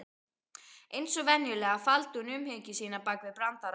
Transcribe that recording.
Eins og venjulega, faldi hún umhyggju sína bak við brandara.